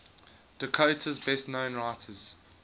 dakota's best known writers